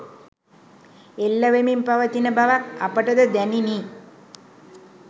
එල්ල වෙමින් පවතින බවක් අපටද දැනිණි